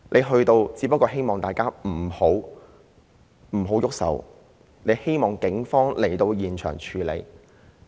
他到場只不過是希望大家不要動手，希望警方到現場處理。